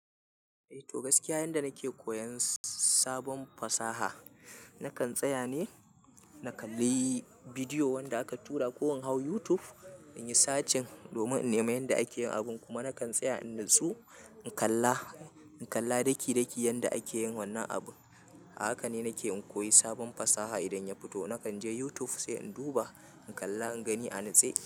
Eh to gaskiya yanda nake koyan sabon fasaha, nakan tsaya ne na kalli bidiyo wanda aka tura ko in hau YouTube inyi search domin in nema yanda ake yin abun kuma nakan tsaya in nutsu in kalla, in kalla daki daki yanda ake yin wannan abu. A haka ne nake in koyi sabon fasaha idan ya fito nakan je YouTube sai in duba, in kalla, in gani, a nitse.